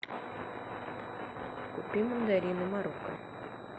купи мандарины марокко